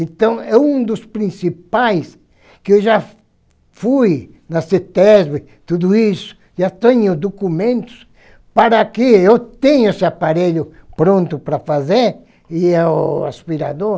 Então, é um dos principais que eu já fui na CITESB, tudo isso, já tenho documentos para que eu tenha esse aparelho pronto para fazer e é o aspirador.